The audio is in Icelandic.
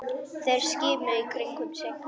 Þeir skimuðu í kringum sig.